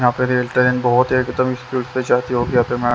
यहाँ पे rail current बहोत है